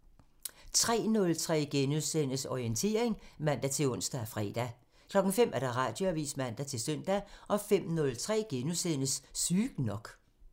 03:03: Orientering *(man-ons og fre) 05:00: Radioavisen (man-søn) 05:03: Sygt nok *(man)